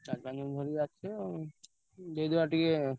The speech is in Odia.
ଧରି ଆସିବ ଦେଇଦବା ଟିକେ।